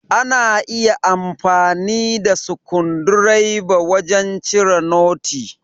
Ana iya amfani da sikundireba wajan cire noti.